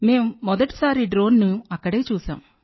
మేం మొదటిసారి డ్రోన్ ను అక్కడ చూశాం